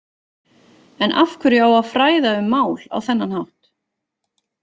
En af hverju á að fræða um mál á þennan hátt?